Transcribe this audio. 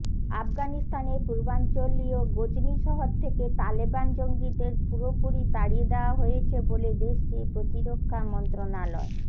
আফগানিস্তানের পূর্বাঞ্চলীয় গজনি শহর থেকে তালেবান জঙ্গিদের পুরোপুরি তাড়িয়ে দেয়া হয়েছে বলে দেশটির প্রতিরক্ষা মন্ত্রণালয়